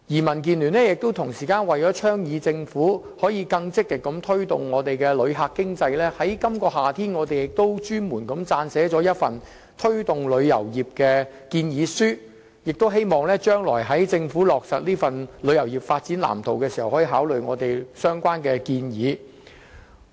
民建聯為了促進政府更積極推動香港的旅遊業發展，在今年夏天，亦撰寫了一份推動旅遊業建議書，希望政府將來落實旅遊業發展藍圖時，可以考慮有關建議。